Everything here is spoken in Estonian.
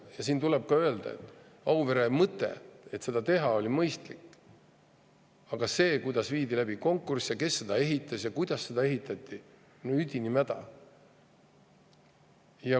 Ja siin tuleb ka öelda, et Auvere tegemise mõte oli mõistlik, aga see, kuidas viidi läbi konkurss ja kes seda ehitas ja kuidas seda ehitati, oli üdini mäda.